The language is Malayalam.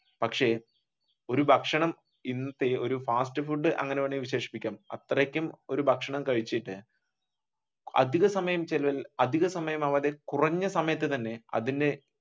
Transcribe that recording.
പക്ഷെ ഒരു ഭക്ഷണം ഇന്നത്തെ ഒരു ഫാസ്റ്റ് ഫുഡ് അങ്ങനെ വേണമെങ്കിൽ വിശേഷിപ്പിക്കാം അത്രയ്ക്കും ഒരു ഭക്ഷണം കഴിച്ചിട്ട് അധിക സമയം അധിക സമയം കുറഞ്ഞ സമയത്തു തന്നെ അതിന്റെ